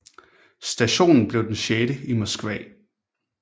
Stationen blev den sjette i Moskva